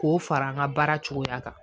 K'o fara an ka baara cogoya kan